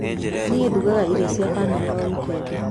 Nie ndugaga iri cia bamĩrĩ o wikendi.